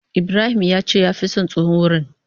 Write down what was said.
Ibrahim yace ya fi son tsohon wurin.